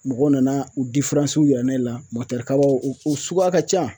Mɔgɔw nana u yira ne la kaba u u suguya ka ca